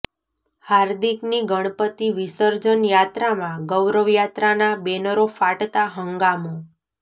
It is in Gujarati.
હાર્દિકની ગણપતિ વિસર્જન યાત્રામાં ગૌરવ યાત્રાના બેનરો ફાટતા હંગામો